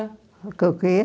Com o quê?